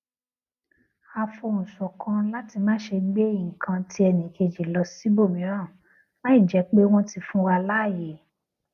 a fohùn ṣọkan láti máṣe gbé nǹkan ti ẹnìkejì lọ síbòmíràn láìjé pé wón ti fún wa láàyè